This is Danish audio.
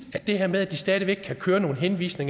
det her med at de stadig væk kan henvise